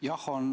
Jah, on.